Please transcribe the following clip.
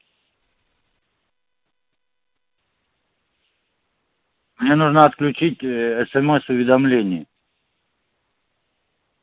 мне нужно отключить э есемес уведомление